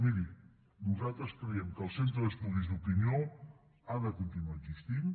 miri nosaltres creiem que el centre d’estudis d’opinió ha de continuar existint